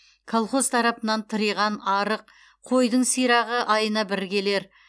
колхоз тарапынан тыриған арық қойдың сирағы айына бір келер